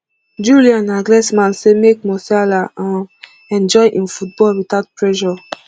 julian nagglesman say make musiala um enjoy im football witout pressure